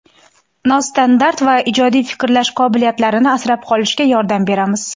nostandart va ijodiy fikrlash qobiliyatlarini asrab qolishga yordam beramiz.